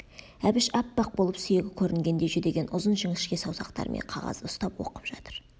әбіш аппақ болып сүйегі көрінгендей жүдеген ұзын жіңішке саусақтарымен қағазды ұстап оқып жатыр